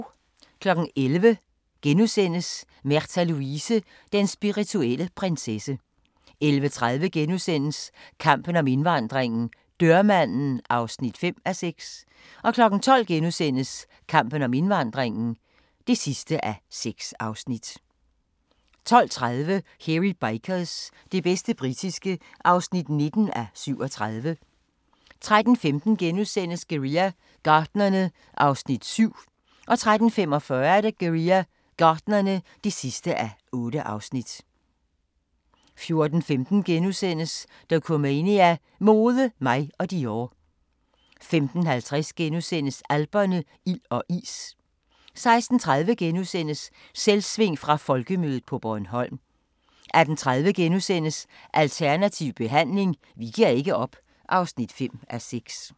11:00: Märtha Louise – Den spirituelle prinsesse * 11:30: Kampen om indvandringen - dørmanden (5:6)* 12:00: Kampen om indvandringen (6:6)* 12:30: Hairy Bikers – det bedste britiske (19:37) 13:15: Guerilla Gartnerne (7:8)* 13:45: Guerilla Gartnerne (8:8) 14:15: Dokumania: Mode, mig og Dior * 15:50: Alperne – ild og is * 16:30: Selvsving fra Folkemødet på Bornholm * 18:30: Alternativ behandling – vi giver ikke op (5:6)*